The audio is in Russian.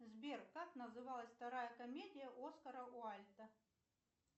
сбер как называлась вторая комедия оскара уайлта